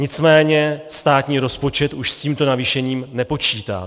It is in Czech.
Nicméně státní rozpočet už s tímto navýšením nepočítá.